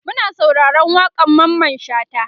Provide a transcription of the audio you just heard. Muna sauraron waƙan Mamman shata